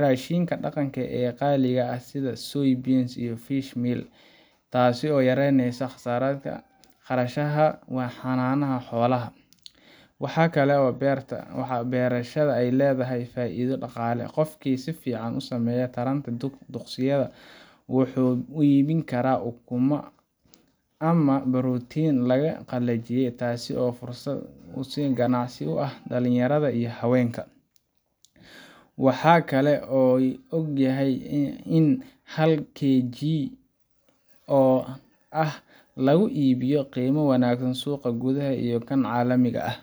raashinka dhaqanka ee qaaliga ah sida soy bean iyo fish meal, taasoo yareynaysa kharashka xanaanada xoolaha. Waxaa kale oo beerashada ay leedahay faa’iido dhaqaale. Qofkii si fiican u sameeya taranta duqsigaas wuxuu iibin karaa ukumaha, ama borotiinka la qalajiyay, taasoo fursad ganacsi u ah dhalinyarada iyo haweenka. Waxaa la og yahay in hal KG oo lava ah lagu iibiyo qiimo wanaagsan suuqa gudaha iyo kan caalamiga ah,